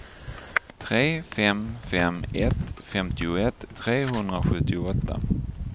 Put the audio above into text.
tre fem fem ett femtioett trehundrasjuttioåtta